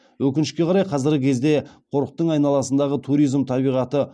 өкінішке қарай қазіргі кезде қорықтың айналасындағы туризм табиғаты